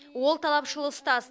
ол талапшыл ұстаз